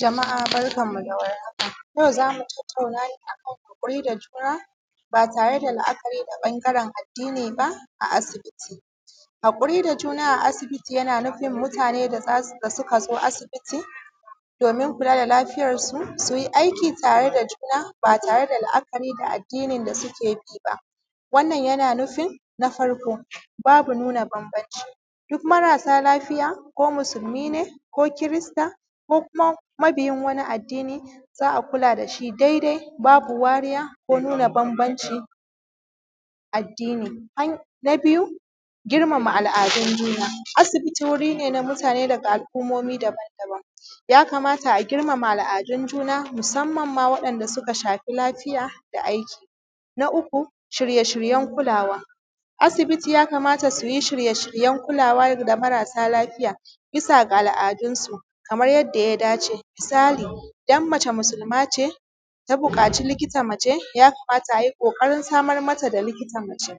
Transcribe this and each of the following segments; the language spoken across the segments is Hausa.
Jama’a barkan mu da war haka, yau za mu tattauna akan haƙuri da juna ba tare da la’akari da ɓangaren addini ba a asibiti. Haƙuri da juna yana nufin mutane da suka zo asibiti domin kula da lafiyarsu su yi aiki tare da juna ba tare ba tare da la’akari da addinin da suke bi ba, wanna yana nufin: babu nuna bambamci duk marasa lafiya ko musulmi ne ko kirista ko kuma mabiyin wani addini za a kula da shi dai-dai, babu wariya ko nuna bambamcin addini, na biyu, girmama al’adun juna: asibiti wuri ne na mutane daga al’ummomi daban-daban ya kamata a girmama al’adun juna musamman ma wanda suka shafi lafiya da aiki, na uku, shirye-shiryen kulawa; asibiti ya kamata su yi shirye-shiryen kulawa ga marasa lafiya bisa ga al’adun su kamar yadda ya dace, misali idan mace musulma ce ta buƙaci likata mace, ya kamata a yi ƙoƙarin samar mata da likita mace,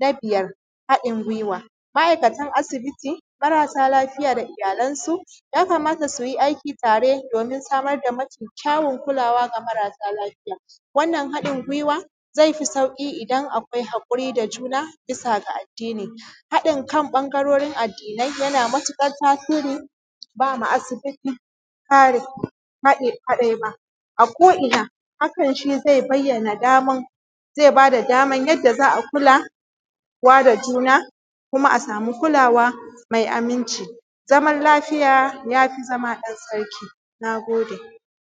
na huɗu haɗin gwiwa: ma’aikatan asibiti marasa lafiya da iyalansu, ya kamata su yi aiki tare domin samar da mafi kyawun kulawa ga marasa lafiya wannan haɗin gwiwa zai fi sauƙi idan akwai haƙuri da juna bisa ga addini, haɗin kan ɓangarorin addinai, yana matuƙar tasiri ba ma asibiti tsari kadai ba ako’ina hakan shi bada daman yadda za a kula da juna kuma a sami kulawa mai aminci, zaman lafiya ya fi zama ɗan sarki.